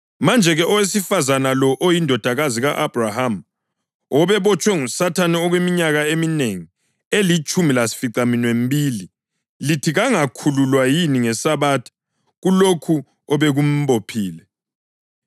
Manje-ke, owesifazane lo oyindodakazi ka-Abhrahama, obebotshwe nguSathane okweminyaka eminengi, elitshumi lasificaminwembili, lithi kangakhululwa yini ngeSabatha kulokho obekumbophile?”